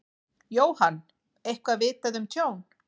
Jóhann: Eitthvað vitað um tjón?